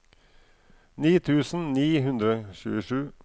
ni tusen ni hundre og tjuesju